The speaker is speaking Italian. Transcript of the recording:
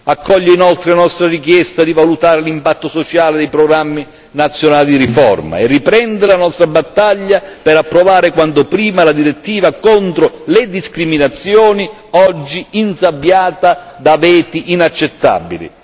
Accoglie inoltre la nostra richiesta di valutare l'impatto sociale dei programmi nazionali di riforma e riprende la nostra battaglia per approvare quanto prima la direttiva contro le discriminazioni, oggi insabbiata da veti inaccettabili.